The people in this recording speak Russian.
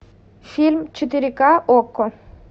фильм четыре ка окко